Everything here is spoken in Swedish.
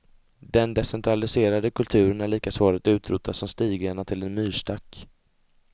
Den decentraliserade kulturen är lika svår att utrota som stigarna till en myrstack.